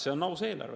See on aus eelarve.